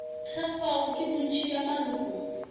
thekgwago ke bontši bja maloko